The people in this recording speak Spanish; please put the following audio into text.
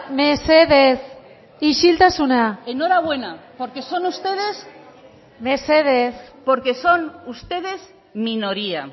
mesedez isiltasuna enhorabuena porque son ustedes mesedez porque son ustedes minoría